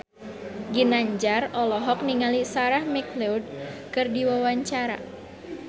Ginanjar olohok ningali Sarah McLeod keur diwawancara